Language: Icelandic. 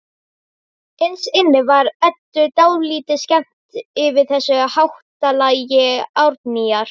Innst inni var Eddu dálítið skemmt yfir þessu háttalagi Árnýjar.